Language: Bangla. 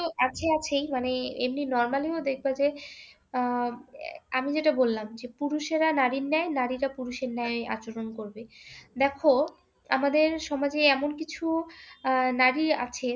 আছে আছেই মানে এমনি normally ও দেখবা যে আহ আমি যেটা বললাম, যে পুরুষেরা নারীর ন্যায় নারীরা পুরুষের ন্যায় আচরণ করবে। দেখো, আমাদের সমাজে এমন কিছু আহ নারী আছে